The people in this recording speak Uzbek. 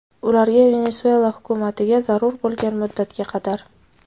Ularga, Venesuela hukumatiga zarur bo‘lgan muddatga qadar.